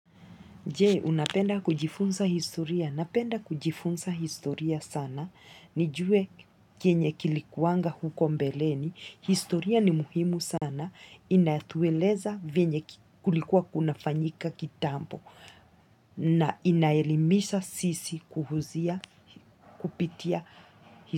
Je, unapenda kujifunza historia. Napenda kujifunza historia sana. Nijue kenye kilikuanga huko mbeleni. Historia ni muhimu sana. Inatueleza vyenye kulikuwa kunafanyika kitambo. Na inaelimisha sisi kuhusu kupitia historia.